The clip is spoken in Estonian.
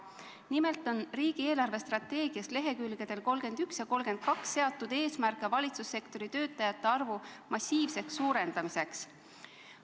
Nimelt on riigi eelarvestrateegias lehekülgedel 31 ja 32 seatud eesmärk valitsussektori töötajate arvu massiivseks suurendamiseks.